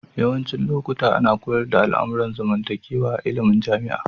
Yawancin lokuta ana koyars da al'amuran zamantakewa a illimin Jama'a.